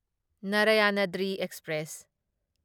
Narayanadri express